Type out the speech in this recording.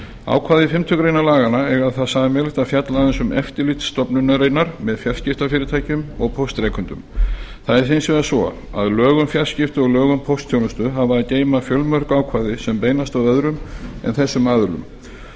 ákvæði fimmtu grein laganna eiga það sameiginlegt að fjalla aðeins um eftirlit stofnunarinnar með fjarskiptafyrirtækjum og póstrekendum það er hins vegar svo að lög um fjarskipti og lög um póstþjónustu hafa að geyma fjölmörg ákvæði sem beinast að öðrum en þessum aðilum